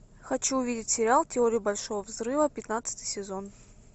хочу увидеть сериал теория большого взрыва пятнадцатый сезон